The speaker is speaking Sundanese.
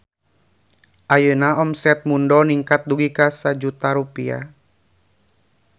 Ayeuna omset Mundo ningkat dugi ka 1 juta rupiah